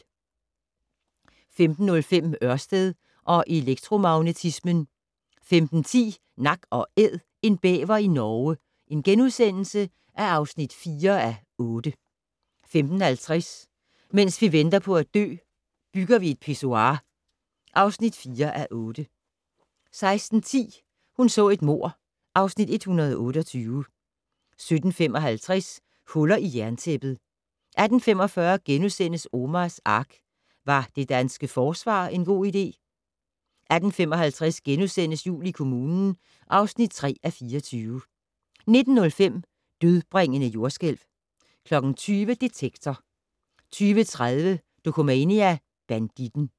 15:05: Ørsted og elektromagnetismen 15:10: Nak & Æd - en bæver i Norge (4:8)* 15:50: Mens vi venter på at dø - Bygger vi et pissoir (4:8) 16:10: Hun så et mord (Afs. 128) 17:55: Hullet i jerntæppet 18:45: Omars Ark - Var det danske forsvar en god idé? * 18:55: Jul i kommunen (3:24)* 19:05: Dødbringende jordskælv 20:00: Detektor 20:30: Dokumania: Banditten